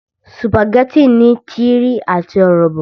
Sùpàgẹ́tì ní tírín àti ọ̀rọ̀bọ̀